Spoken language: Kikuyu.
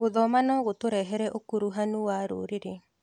Gũthoma no gũtũrehere ũkuruhanu wa rũrĩrĩ.